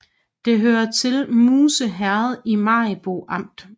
Det hørte til Musse Herred i Maribo Amt